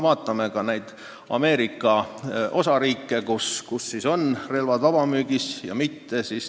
Vaatame neid Ameerika osariike, kus on relvad vabamüügis.